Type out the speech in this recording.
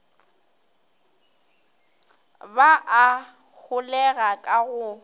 ba a holega ka go